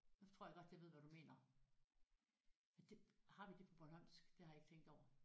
Nu tror jeg godt jeg ved hvad du mener ja det har vi det på bornholmsk det har jeg ikke tænkt over